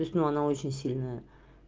то есть ну она очень сильная